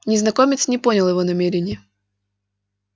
незнакомец не понял его намерения